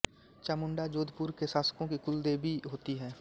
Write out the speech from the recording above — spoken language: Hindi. चामुंडा जोधपुर के शासकों की कुलदेवी होती है